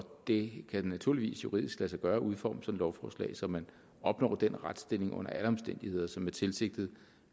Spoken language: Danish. det kan naturligvis juridisk lade sig gøre at udforme sådan et lovforslag så man opnår den retsstilling under alle omstændigheder som er tilsigtet